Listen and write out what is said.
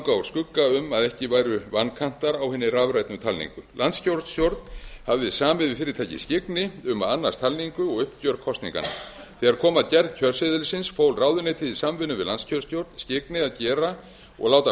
úr skugga um að ekki væru vankantar á hinni rafrænu talningu landskjörstjórn hafði samið við fyrirtækið skyggni um að annast talningu og uppgjör kosninganna þegar kom að gerð kjörseðilsins fól ráðuneytið í samvinnu við landskjörstjórn skyggni að gera og láta